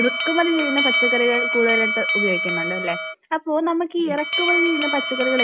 ഇറക്കുമതി ചെയ്യുന്ന പച്ചക്കറികൾ കൂടുതൽ ഉപയോഗിക്കുന്നുണ്ട് അല്ലേ? അപ്പോൾ നമുക്ക് ഇറക്കുമതി ചെയ്യുന്ന പച്ചക്കറികൾ